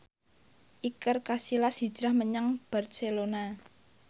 Iker Casillas hijrah menyang Barcelona